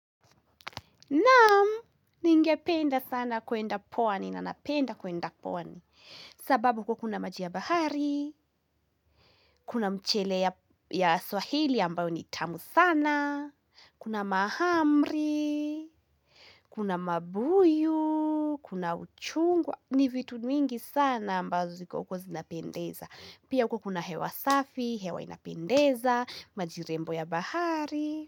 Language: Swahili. Naam, ningependa sana kuenda pwani, na napenda kuenda pwani. Sababu huko kuna maji ya bahari, kuna mchele ya swahili ambayo ni tamu sana, kuna mahamri, kuna mabuyu, kuna uchungwa, ni vitu mingi sana ambazo ziko uko zinapendeza. Pia huko kuna hewa safi, hewa inapendeza, majirembo ya bahari.